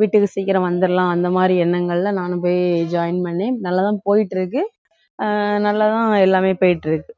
வீட்டுக்கு சீக்கிரம் வந்திடலாம் அந்த மாதிரி எண்ணங்கள்ல நானும் போய் join பண்ணி நல்லாதான் போயிட்டிருக்கு அஹ் நல்லாதான் எல்லாமே போயிட்டிருக்கு